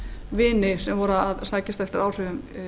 vini sem voru að sækjast eftir áhrifum